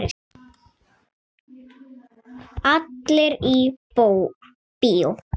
Allir í bíó!